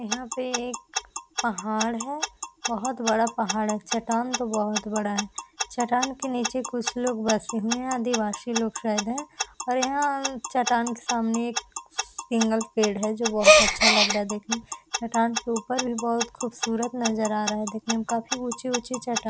यहाँ पे एक पहाड़ है। बहुत बड़ा पहाड़ है चट्टान तो बहुत बड़ा है। चट्टान के निचे कुछ लोग बसे हैं आदिवासी लोग शायद हैं और यहाँ चट्टान के सामने एक सिंगल पेड़ है जो बहुत अच्छा लग रहा है देखने में। चट्टान के उपर भी बहुत खूबसूरत नजरा आ रहा है देखने में। काफी ऊँची ऊँची चट्टान --